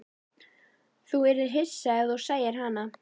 Þú yrðir hissa ef þú sæir hana.